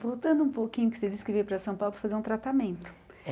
Voltando um pouquinho, que você disse que veio para São Paulo para fazer um tratamento. É